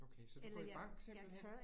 Okay, så du går i bank simpelthen?